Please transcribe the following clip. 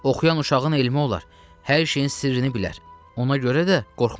Oxuyan uşağın elmi olar, hər şeyin sirrini bilər, ona görə də qorxmaz.